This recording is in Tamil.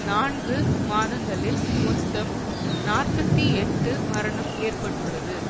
நான்கு மாதங்களில் மொத்தம் நாற்பத்தி எட்டு மரணம் ஏற்பட்டுள்ளது